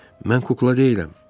Mən kukla deyiləm.